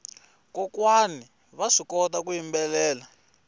kokwana vaswi kota ku yimbelela